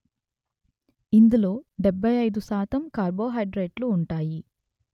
ఇందులో డెబ్బై అయిదు శాతం కార్బోహైడ్రేట్లు ఉంటాయి